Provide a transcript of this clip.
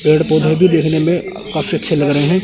पेड़ पौधे भी देखने में काफी अच्छे लग रहे हैं।